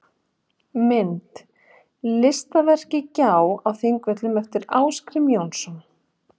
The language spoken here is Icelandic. Mynd: Listaverkið Gjá á Þingvöllum eftir Ásgrím Jónsson.